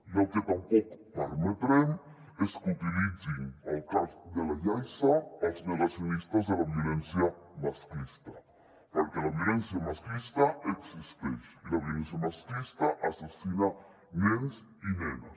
i el que tampoc permetrem és que utilitzin el cas de la yaiza els negacionistes de la violència masclista perquè la violència masclista existeix i la violència masclista assassina nens i nenes